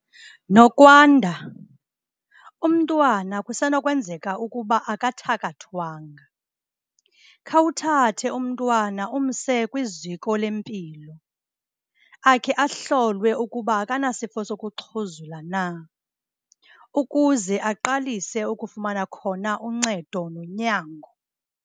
Nokwanda, umntwana kusenokwenzeka ukuba akathakathwanga. Khawuthathe umntwana umse kwiziko lempilo, akhe ahlolwe ukuba akanasifo sokuxhuzula na ukuze aqalise ukufumana khona uncedo nonyango.